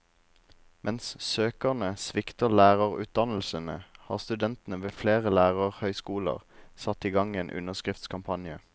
Mens søkerne svikter lærerutdannelsene, har studentene ved flere lærerhøyskoler satt i gang en underskriftskampanje.